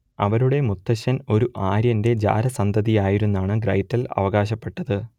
അവരുടെ മുത്തച്ഛൻ ഒരു ആര്യന്റെ ജാരസന്തതിയായിരുന്നെന്നാണ് ഗ്രെറ്റൽ അവകാശപ്പെട്ടത്